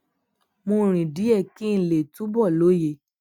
mo rìn díè kí n lè túbò lóye